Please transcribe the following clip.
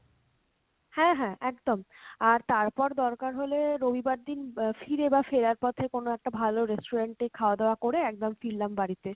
হ্যাঁ হ্যাঁ একদম, আর তারপর দরকার হলে রবিবার দিন আহ ফিরে বা ফেরার পথে কোনো একটা ভালো restaurant এ খাওয়া দাওয়া করে একদম ফিরলাম বাড়িতে।